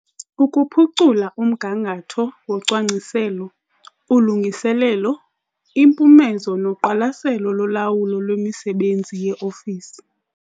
Ukuphucula umgangatho wocwangciselo, ulungiselelo, impumezo noqwalaselo lolawulo lwemisebenzi yeofisi.